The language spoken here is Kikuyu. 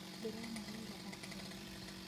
Ndĩrenogorire o mũthenya.